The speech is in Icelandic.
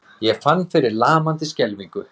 Ég fann fyrir lamandi skelfingu.